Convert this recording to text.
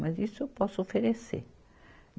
Mas isso eu posso oferecer.